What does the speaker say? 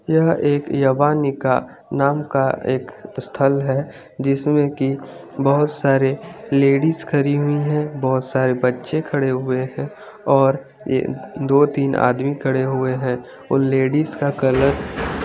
यह एक यभानिका नाम का एक स्थल है जिसमे की बहोत सारे लेडीज खरी हुई है बहोत सारे बच्चे खड़े हुए है और ये दो तीन आदमी खड़े हुए है और लेडीज का कलर --